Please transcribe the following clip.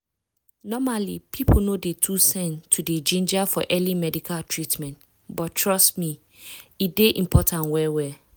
normally people no dey too send to dey ginger for early medical treatment but trust me e dey important well well.